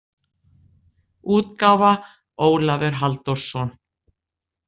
útgáfa Ólafur Halldórsson.